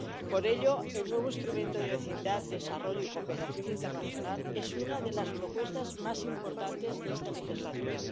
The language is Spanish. Por ello, el nuevo Instrumento de Vecindad, Desarrollo y Cooperación Internacional es una de las propuestas más importantes de esta legislatura.